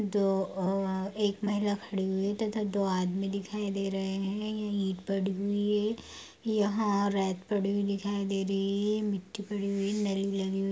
दो अ आ एक महिला खड़ी हुई तथा दो आदमी दिखाई दे रहे हैं। यहाँ रैत पड़ी हुई दिखाई दे रही मिट्टी पड़ी हुई लगी हुई --